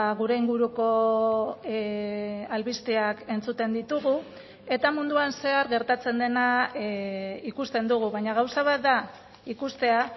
gure inguruko albisteak entzuten ditugu eta munduan zehar gertatzen dena ikusten dugu baina gauza bat da ikustea